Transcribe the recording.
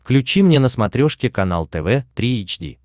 включи мне на смотрешке канал тв три эйч ди